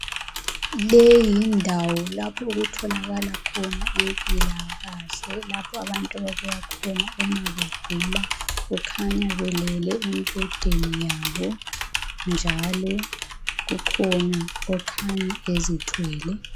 Leyi yindawo lapho okutholakala khona impilakahle lapho abantu ababuya khona uma begula kukhanya belele embhedeni yabo njalo kukhona okhanya ezithwele.